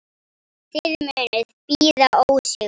Þið munuð bíða ósigur.